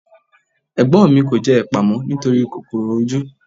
Ẹ̀gbọ́n mi kò jẹ ẹpa mọ́ nítorí kòkòrò ojú.